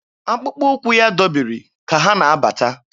Akpụkpọ ụkwụ ya dọbiri ka ha na-abata.